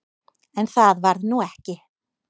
En það varð nú ekki.